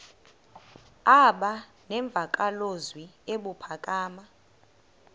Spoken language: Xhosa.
aba nemvakalozwi ebuphakama